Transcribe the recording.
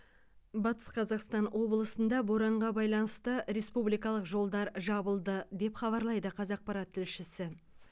батыс қазақстан облысында боранға байланысты республикалық жолдар жабылды деп хабарлайды қазақпарат тілшісі